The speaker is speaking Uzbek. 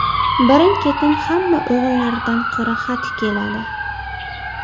Birin-ketin hamma o‘g‘illaridan qora xat keladi.